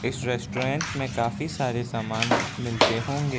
इस रेस्टोरेंट में काफी सारे सामान मिलते होंगे।